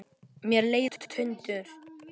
Mér leiðast luntar.